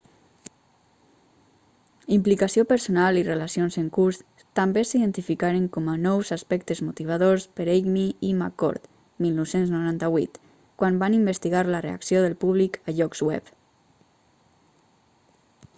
implicació personal i relacions en curs també s'identificaren com a nous aspectes motivadors per eighmey i mccord 1998 quan van investigar la reacció del públic a llocs web